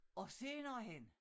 Og senere hen